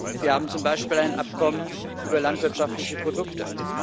Wir haben zum Beispiel ein Abkommen über landwirtschaftliche Produkte.